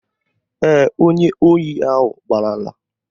Ee, onye ohi ahụ gbalara